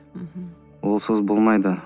мхм онсыз болмайды